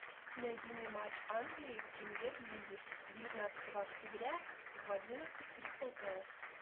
найди мне матч англии в премьер лиге девятнадцатого октября в одиннадцать кристал пэлас